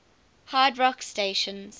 hard rock stations